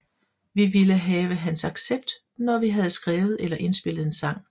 Vi ville have hans accept når vi havde skrevet eller indspillet en sang